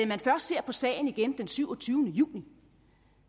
man først ser på sagen igen den syvogtyvende juni